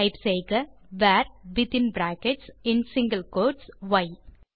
type செய்க வர் வித்தின் பிராக்கெட்ஸ் மற்றும் சிங்கில் கோட்ஸ் ய்